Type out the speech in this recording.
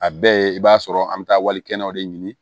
A bɛɛ ye i b'a sɔrɔ an bɛ taa wali kɛnɛw de ɲini